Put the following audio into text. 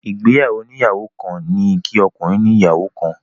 Ìgbéyàwó oníyàwó kan ni kí ọkùnrin ní ìyàwó kan.